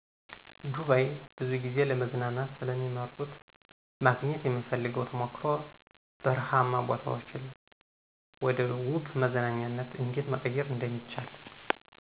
ዱባይ፦ ብዙ ጊዜ ለመዝናኛነት ስለሚመርጡት ማግኘት የምፈልገው ተሞክሮ በርሃማ ቦታዎችን ወደ ዉብ መዝናኛነት እንዴት መቀየር እደሚቻል።